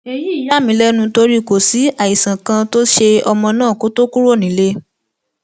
èyí yà mí lẹnu torí kò sí àìsàn kan tó ṣe ọmọ náà kó tóó kúrò nílé